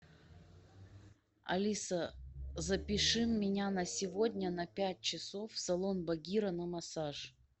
алиса запиши меня на сегодня на пять часов в салон багира на массаж